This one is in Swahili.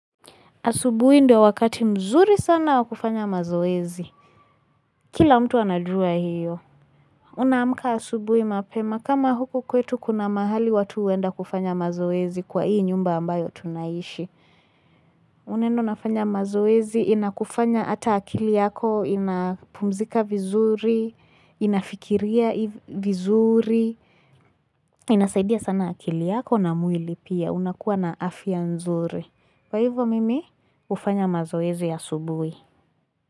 Asubuhi ndio wakati mzuri sana wa kufanya mazoezi. Kila mtu anajua hiyo. Unaamka asubuhi mapema kama huku kwetu kuna mahali watu huenda kufanya mazoezi kwa hii nyumba ambayo tunaishi. Unaenda unafanya mazoezi inakufanya hata akili yako inapumzika vizuri, inafikiria vizuri. Inasaidia sana akili yako na mwili pia unakuwa na afya nzuri. Kwa hivyo mimi hufanya mazoezi asubuhi.